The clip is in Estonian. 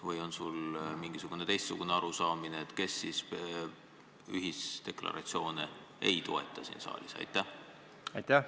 Või on sul mingi teistsugune arusaam, kes siis ühisdeklaratsioone ei toeta siin saalis?